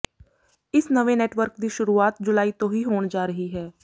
ਇਸ ਨਵੇਂ ਨੈਟਵਰਕ ਦੀ ਸ਼ੁਰੂਆਤ ਜੁਲਾਈ ਤੋਂ ਹੀ ਹੋਣ ਜਾ ਰਹੀ ਹੈ